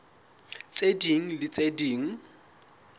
tse ding le tse ding